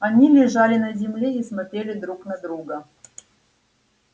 они лежали на земле и смотрели друг на друга